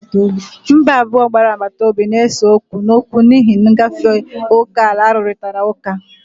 Mba abụọ gbara agbata obi na-ese okwu n'okwu n'ihi ngafe oke ala arụrịtara ụka.